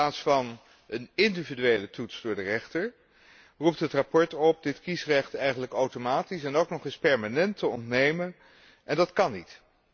In plaats van een individuele toets voor de rechter roept het verslag op dit kiesrecht eigenlijk automatisch en ook nog eens permanent te ontnemen. Dat kan niet.